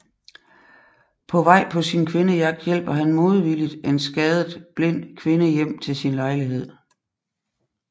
På vej på kvindejagt hjælper han modvilligt en skadet blind kvinde hjem til sin lejlighed